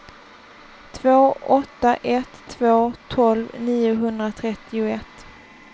två åtta ett två tolv niohundratrettioett